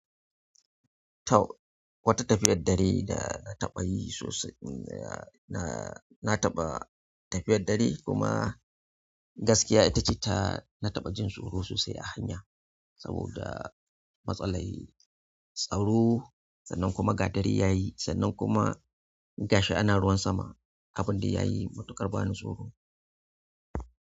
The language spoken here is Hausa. Tau, wata tafiyar dare da na taɓa yi sosai, na, na, na taɓa tafiyar dare kuma gaskiya ita ce ta, na taɓa jin tsoro sosai a hanya saboda matsalai, tsaro sannan kuma ga dare ya yi sannan kuma gashi ana ruwan sama, abin da ya yi matuƙar bani tsoro.